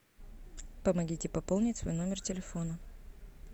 помогите пополнить свой номер телефона